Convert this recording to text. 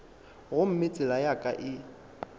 gomme tsela ya ka e